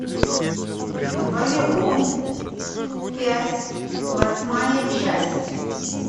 вавилон пять восьмая часть